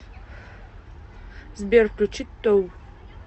сбер включи тоу